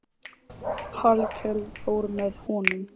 Hallkell fór með honum.